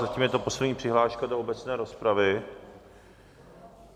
Zatím je to poslední přihláška do obecné rozpravy.